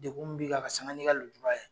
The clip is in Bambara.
Dekun min b'i kan ka sanga ni ka lujura ye.